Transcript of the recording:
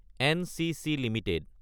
NCC Ltd